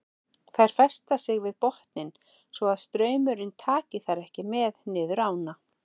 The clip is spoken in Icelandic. Þær festa sig við botninn svo að straumurinn taki þær ekki með niður ána.